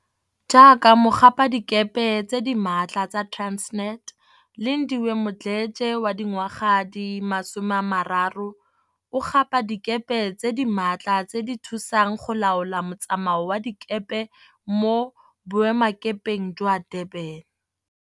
Jaaka mogapadikepe tse di maatla tsa Transnet, Lindile Mdletshe, 30, o gapa dikepe tse di maatla tse di thusang go laola mo tsamao wa dikepe mo Boe makepeng jwa Durban.